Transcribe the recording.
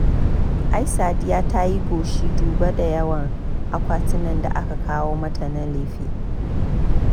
Ai Sadiya ta yi goshi duba da yawan akwatunan da aka kawo mata na lefe.